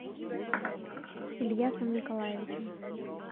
ильясом николаевичем